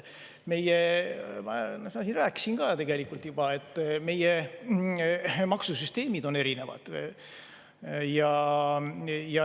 Ma juba rääkisin, et meie maksusüsteemid on erinevad.